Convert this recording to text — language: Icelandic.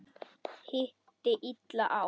Hitti illa á.